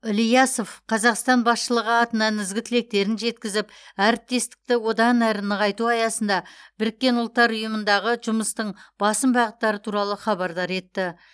ілиясов қазақстан басшылығы атынан ізгі тілектерін жеткізіп әріптестікті одан әрі нығайту аясында біріккен ұлттар ұйымындағы жұмыстың басым бағыттары туралы хабардар етті